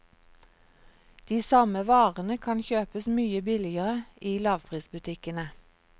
De samme varene kan kjøpes mye billigere i lavprisbutikkene.